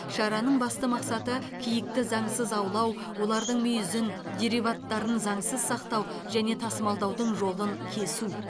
шараның басты мақсаты киікті заңсыз аулау олардың мүйізін дериваттарын заңсыз сақтау және тасымалдаудың жолын кесу